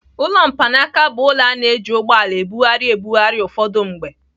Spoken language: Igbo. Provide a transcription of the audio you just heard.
Ụlọ mkpanaaka bụ ụlọ a na-eji ụgbọala ebugharị ebugharị ụfọdụ mgbe.